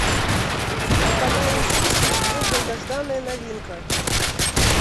по каналу известия идет долгожданная новинка